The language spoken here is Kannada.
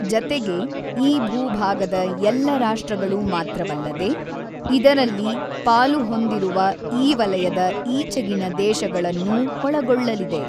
ಜತೆಗೆ, ಈ ಭೂಭಾಗದ ಎಲ್ಲ ರಾಷ್ಟ್ರಗಳು ಮಾತ್ರವಲ್ಲದೆ, ಇದರಲ್ಲಿ ಪಾಲು ಹೊಂದಿರುವ ಈ ವಲಯದ ಈಚೆಗಿನ ದೇಶಗಳನ್ನೂ ಒಳಗೊಳ್ಳಲಿದೆ.